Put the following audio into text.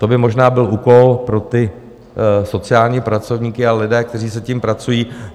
To by možná byl úkol pro ty sociální pracovníky a lidi, kteří s tím pracují.